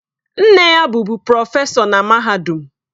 Nne ya bụbu prọfesọ na mahadum.